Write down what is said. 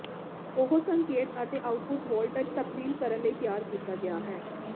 ਉਹ ਸੰਕੇਤ ਅਤੇ ਆਉਟਪੁੱਟ ਵੋਲਟਜ ਤਬਦੀਲ ਕਰਨ ਲਈ ਤਿਆਰ ਕੀਤਾ ਗਿਆ ਹੈ